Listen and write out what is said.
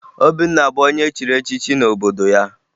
Obinna bụ onye echiri echichi n'obodo ya